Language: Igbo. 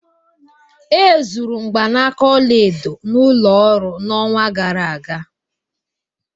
E zuru mgbanaka ọla edo n'ụlọ ọrụ n'ọnwa gara aga